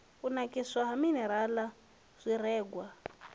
u nakiswa ha minirala zwirengwa